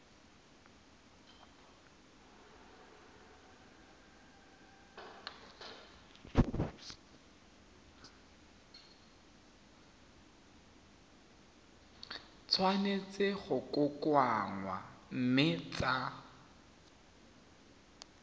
tshwanetse go kokoanngwa mme tsa